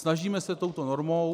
Snažíme se touto normou.